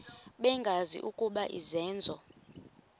bengazi ukuba izenzo